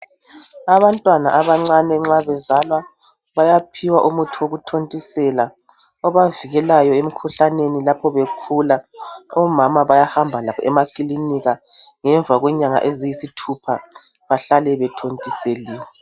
Abantwana abancane nxa bezalwa bayaphiwa umuthi wokuthontisela obavikelayo emikhuhlaneni lapho bekhula. Omama bayahamba labo emakilinika ngemva kwenyanga eziyisithupha bahlale bethontiseliwe